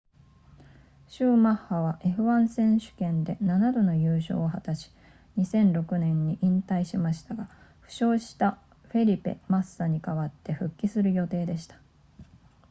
シューマッハは f1 選手権で7度の優勝を果たし2006年に引退しましたが負傷したフェリペマッサに代わって復帰する予定でした